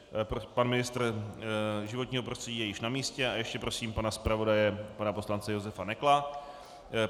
Pan ministr životního prostředí je již na místě a ještě prosím pana zpravodaje, pana poslance Josefa Nekla.